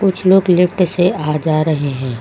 कुछ लोग लिफ्ट से आ जा रहे हैं।